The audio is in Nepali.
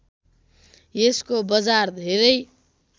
यसको बजार धेरै